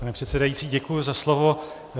Pane předsedající, děkuji za slovo.